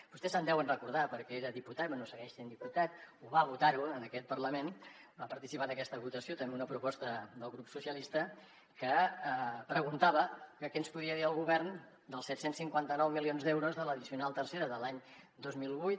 vostè se’n deu recordar perquè era diputat bé segueix sent diputat ho va votar en aquest parlament va participar en aquesta votació també una proposta del grup socialistes que preguntava que què ens podia dir el govern dels set cents i cinquanta nou milions d’euros de l’addicional tercera de l’any dos mil vuit